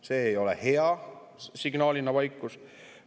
See ei ole hea signaal – vaikus.